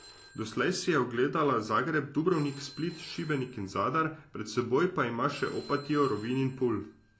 Doslej si je ogledala Zagreb, Dubrovnik, Split, Šibenik in Zadar, pred seboj pa ima še Opatijo, Rovinj in Pulj.